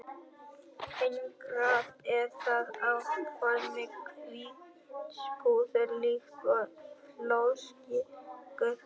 Einangrað er það á formi hvíts púðurs líkt og flórsykur.